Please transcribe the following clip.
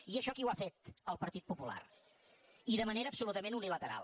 i això qui ho ha fet el partit popular i de manera absolutament unilateral